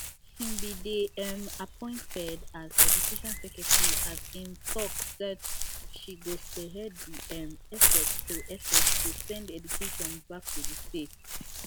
she bin dey um appointed as education secretary as im tok sat she go spearhead di um effort to effort to send education back to di states